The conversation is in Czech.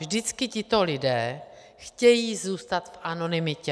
Vždycky tito lidé chtějí zůstat v anonymitě.